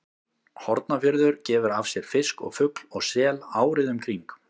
Hornafjörður gefur af sér fisk og fugl og sel árið um kring.